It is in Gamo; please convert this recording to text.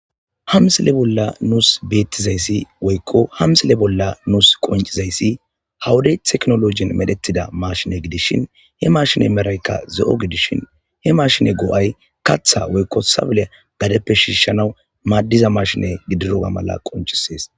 ha msile bolla nuus beettizayssi woykko ha msile bolla nuus qoncizayssi ha'i wodey teknolojin medhetida mashine gidishin he mashine meraykka ze'o gidishin he mashine go'ay katha woykko sabelea gadeppe shiishanaw maaddiza mashine gidioga mala qonchisees